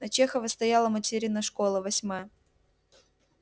на чехова стояла материна школа восьмая